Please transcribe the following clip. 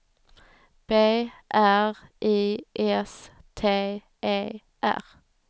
B R I S T E R